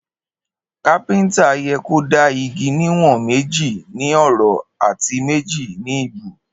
Kapińtà yẹ kó dà ìgí ni wón méji ní òró àtí méjì ni ìbú